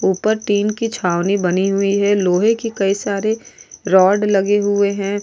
ऊपर टीन की छावनी बनी हुई है लोहे की कई सारे रॉड लगे हुए हैं।